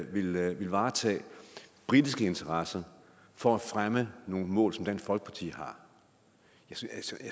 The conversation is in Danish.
ville varetage britiske interesser for at fremme nogle mål som dansk folkeparti har